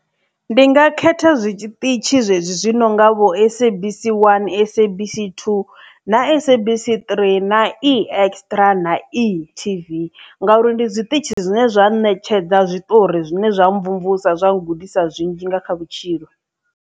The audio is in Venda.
Ndi nga khetha zwiṱitshi zwezwi zwi no nga vho Sabc one, Sabc two na Sabc three na Extra na Etv nga uri ndi zwiṱitshi zwine zwa ṋetshedza zwiṱori zwine zwa mvumvusa zwa ngudisa zwinzhi nga kha vhutshilo.